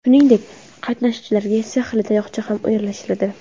Shuningdek, qatnashchilarga sehrli tayoqcha ham ulashiladi.